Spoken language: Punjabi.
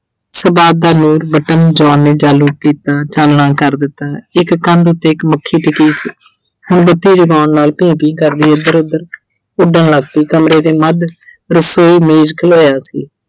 ਸਭਾਤ ਦਾ button, John ਨੇ ਚਾਲੂ ਕੀਤਾ। ਚਾਨਣਾ ਕਰ ਦਿੱਤਾ। ਇੱਕ ਕੰਧ ਉੱਤੇ ਇੱਕ ਮੱਖੀ ਟਿਕੀ ਸੀ। ਬੱਤੀ ਜਗਾਉਣ ਨਾਲ ਭੀਂ-ਭੀਂ ਕਰਦੀ ਇੱਧਰ-ਉੱਧਰ ਉੱਡਣ ਲੱਗ ਪਈ ਕਮਰੇ ਦੇ ਮੱਧ ਰਸੋਈ ਮੇਜ਼ ਖਲੋਇਆ ਸੀ।